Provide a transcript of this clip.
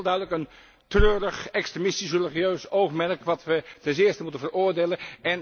Dus dat is heel duidelijk een treurig extremistisch religieus oogmerk, dat we ten zeerste moeten veroordelen.